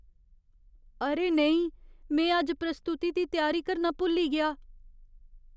अरे नेईं! में अज्ज प्रस्तुति दी त्यारी करना भुल्ली गेआ ।